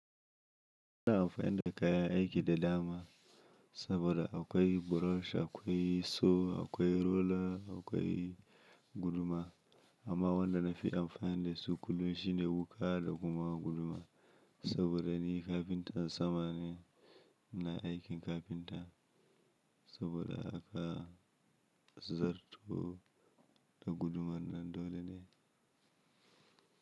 Ina amfani da kaya aiki da dama saboda akwai burosh, akwai saw, akwai roller, akwai guduma amma wannan nafi amfani da su kullum shine wuƙa da kuma guduma saboda ni kafinta sama ne inna aikin kafinta saboda aka zarto da gudumar nan dole ne.